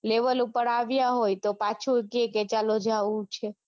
Level ઉપર આવિયા હોય તો પાછું કે કે ચાલો જાઓ